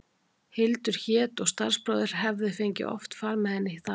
Hildur hét og starfsbróðir hefði oft fengið far með henni þaðan.